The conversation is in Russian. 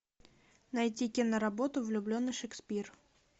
найди киноработу влюбленный шекспир